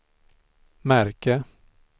märke